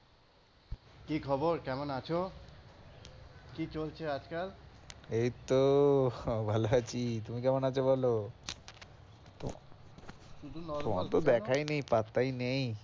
কি খবর কেমন আছো? কি চলছে আজকাল? এইতো ভালো আছি। তুমি কেমন আছো বলো? তোমার তো দেখাই নেই পাত্তাই নেই।